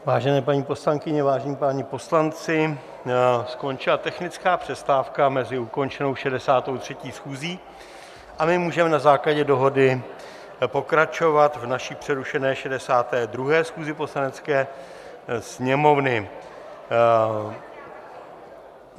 Vážené paní poslankyně, vážení páni poslanci, skončila technická přestávka mezi ukončenou 63. schůzí a my můžeme na základě dohody pokračovat v naší přerušené 62. schůzi Poslanecké sněmovny.